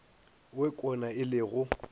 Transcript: wo kwena e le go